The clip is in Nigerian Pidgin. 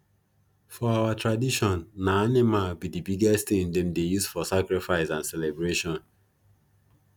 for our tradition na animal be the biggest thing them dey use for sacrifice and celebration